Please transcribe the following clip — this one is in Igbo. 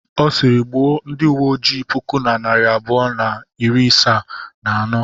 Ọ sịịrị, gbuo ndị uwe ojii puku na narị abụọ na iri asaa na anọ.